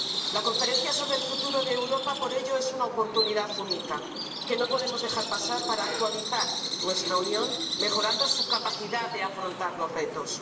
La Conferencia sobre el Futuro de Europa, por ello, es una oportunidad única, que no podemos dejar pasar, para actualizar nuestra Unión mejorando su capacidad de afrontar los retos.